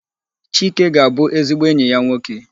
Chike ga-abụ ezigbo enyi ya nwoke.